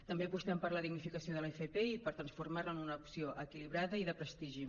també apostem per la dignificació de l’fp i per transformar la en una opció equilibrada i de prestigi